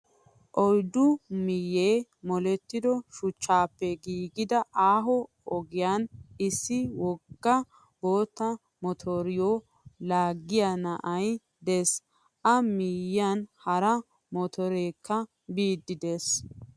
Oyiddu miyyee molettido shuchchaappe giigida aaho ogiyan issi wogga bootta motoriyoo laagiyaa na'ayi des. A miyyiyan hara motoreekka biiddi des.